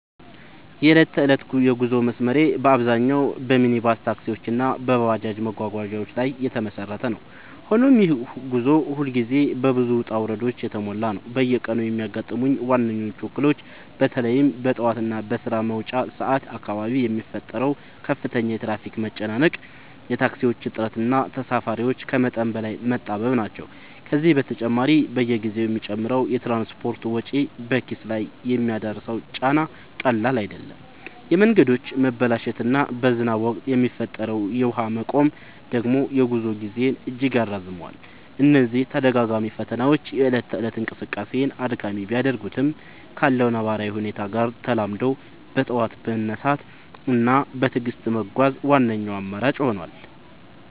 የዕለት ተዕለት የጉዞ መስመሬ በአብዛኛው በሚኒባስ ታክሲዎች እና በባጃጅ መጓጓዣዎች ላይ የተመሰረተ ነው፤ ሆኖም ይህ ጉዞ ሁልጊዜ በብዙ ውጣ ውረዶች የተሞላ ነው። በየቀኑ የሚያጋጥሙኝ ዋነኞቹ እክሎች በተለይም በጠዋት እና በስራ መውጫ ሰዓት አካባቢ የሚፈጠረው ከፍተኛ የትራፊክ መጨናነቅ፣ የታክሲዎች እጥረት እና ተሳፋሪዎች ከመጠን በላይ መጣበብ ናቸው። ከዚህ በተጨማሪ፣ በየጊዜው የሚጨምረው የትራንስፖርት ወጪ በኪስ ላይ የሚያደርሰው ጫና ቀላል አይደለም፤ የመንገዶች መበላሸት እና በዝናብ ወቅት የሚፈጠረው የውሃ መቆም ደግሞ የጉዞ ጊዜን እጅግ ያራዝመዋል። እነዚህ ተደጋጋሚ ፈተናዎች የእለት ተእለት እንቅስቃሴን አድካሚ ቢያደርጉትም፣ ካለው ነባራዊ ሁኔታ ጋር ተላምዶ በጠዋት መነሳት እና በትዕግስት መጓዝ ዋነኛው አማራጭ ሆኗል።